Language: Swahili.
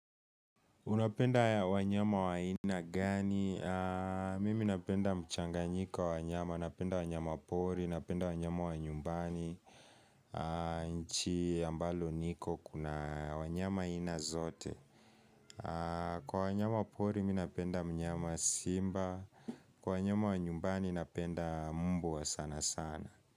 Unapenda wanyama wa aina gani? Mimi napenda mchanganyiko wa wanyama, napenda wanyama pori, napenda wanyama wa nyumbani nchi ambalo niko kuna wanyama aina zote. Kwa wanyama pori mi napenda mnyama simba, kwa wanyama wa nyumbani napenda mbwa sana sana.